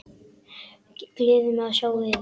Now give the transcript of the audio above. Gleður mig að sjá yður.